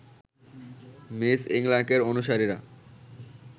miss ইংলাকের অনুসারীরা